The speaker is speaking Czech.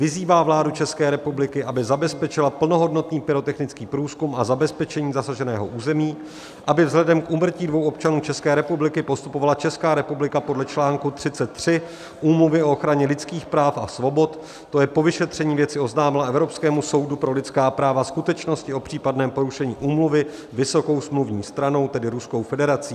Vyzývá vládu České republiky, aby zabezpečila plnohodnotný pyrotechnický průzkum a zabezpečení zasaženého území, aby vzhledem k úmrtí dvou občanů České republiky postupovala Česká republika podle článku 33 Úmluvy o ochraně lidských práv a svobod, to je po vyšetření věci oznámila Evropskému soudu pro lidská práva skutečnosti o případném porušení úmluvy vysokou smluvní stranou, tedy Ruskou federací.